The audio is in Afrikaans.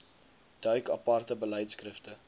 duik aparte beleidskrifte